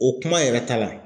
O kuma yɛrɛ ta la.